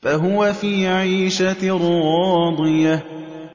فَهُوَ فِي عِيشَةٍ رَّاضِيَةٍ